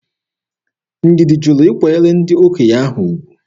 Ndidi jụrụ ịkwanyere ndị okenye ahụ ugwu.